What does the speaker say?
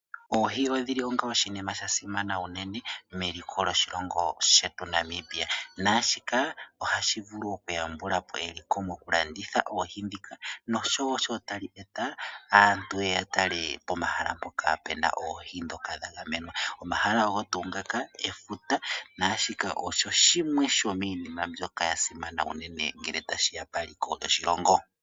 Oohi odhi li onga oshinima sha simana unene meliko lyoshilongo shetu shaNamibia. Naa shika ohashi vulu okuyambula po eliko mokulanditha oohi ndhika noshowo sho tali eta aantu ye ye ya tale pomahala mpoka pu na oohi ndhoka dha gamenwa. Omahala ogo tuu ngaka efuta naa shika osho shimwe shomiinima mbyoka ya simana unene ngele tashi ya paliko lyoshilongo.